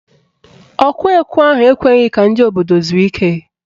Ọkụ ekwe ahụ ekweghị ka ndị obodo zuo ike